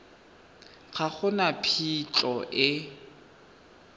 ga go na phitlho e